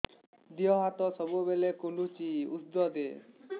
ଦିହ ହାତ ସବୁବେଳେ କୁଣ୍ଡୁଚି ଉଷ୍ଧ ଦେ